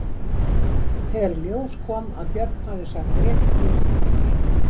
Þegar í ljós kom að Björn hafði sagt rétt til um mark